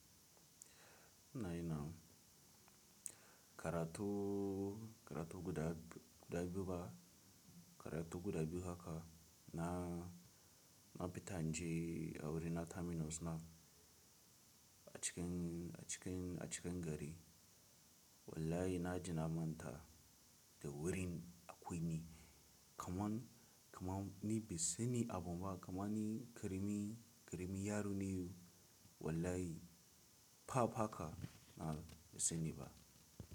Na yana karatu, karatu guda, guda biyu ba, karatu guda biyu haka na, na fita naje a wurin na terminals na a cikin, a cikin, a cikin gari. Wallahi na ji na manta da wurin akwai me, kaman, kaman ni bai sani abun ba, kaman ni karami, karami yaro ne. Wallahi fa haka na bai sani ba.